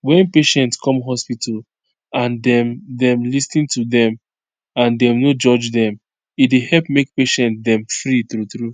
wen patient come hospital and dem dem lis ten to dem and dem no judge dem e dey help make patient dem free true true